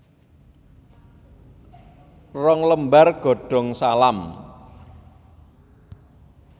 Rong lembar godong salam